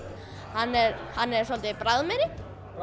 hann er hann er svolítið bragðmeiri